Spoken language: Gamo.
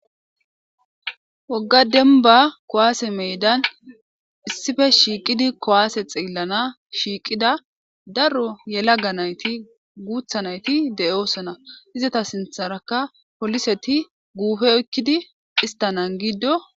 Wogga demba kuwaase meedan issippe shiiqidi kuwaase xeellana shiiqida daro yelaga nayti guutha nayti de'osona .Izata sintharaka poliseti guupe oyikkidi issta giddo.